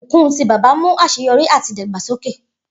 Ibukun ti baba mu aseyori ati idagbasoke